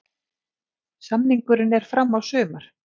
Samningurinn er fram á sumar.